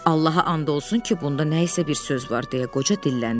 Allaha and olsun ki, bunda nəsə bir söz var deyə qoca dilləndi.